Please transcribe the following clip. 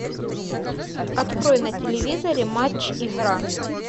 открой на телевизоре матч игра